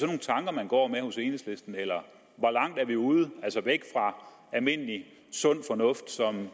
nogle tanker man går med hos enhedslisten eller hvor langt er vi ude altså væk fra almindelig sund fornuft som